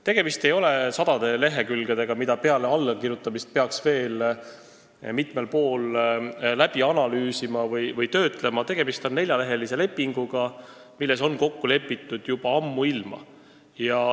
Tegemist ei ole sadade lehekülgedega, mida peale allakirjutamist peaks veel mitmel pool analüüsima või töötlema, see on neljaleheline leping, milles oli kokku lepitud juba ammuilma.